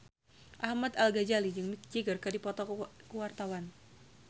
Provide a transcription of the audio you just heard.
Ahmad Al-Ghazali jeung Mick Jagger keur dipoto ku wartawan